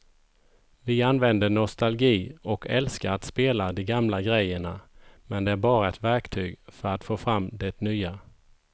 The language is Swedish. Vi använder nostalgi och älskar att spela de gamla grejerna men det är bara ett verktyg för att få fram det nya.